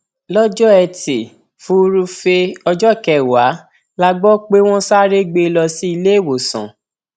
lọjọ etí furuufee ọjọ kẹwàá la gbọ pé wọn sáré gbé e lọ sí iléèwòsàn